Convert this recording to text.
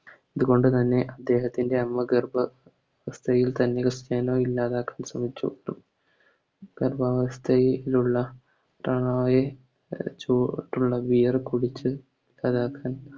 ഇതുകൊണ്ട് തന്നെ ഇദ്ദേഹത്തിൻറെ അമ്മ ഗർഭ അവസ്ഥയിൽ തന്നെ ക്രിസ്റ്റനോ ഇല്ലാതാക്കാൻ ശ്രെമിച്ചു ഗർഭവസ്ഥയിലുള്ള ക്രിസ്താനോയെ ചു Beer കുടിച്ച് Abortion